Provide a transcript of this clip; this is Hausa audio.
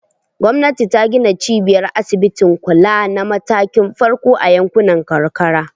Gwamnati ta gina cibiyar asibitin kula na matakin farko a yankunan karkara.